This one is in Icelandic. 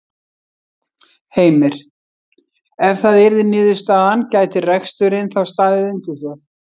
Heimir: Ef það yrði niðurstaðan gæti reksturinn þá staðið undir sér?